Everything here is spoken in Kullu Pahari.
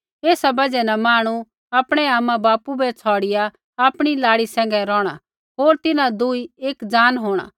ऐसा बजहा न मांहणु आपणै आमाबापू बै छ़ौड़िआ आपणी लाड़ी सैंघै रोहणा होर तिन्हां दुई एक जान होंणा